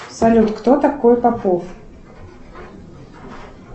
салют кто такой попов